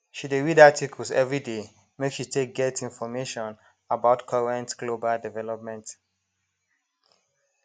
she dey read articles everyday make she take get information about current global development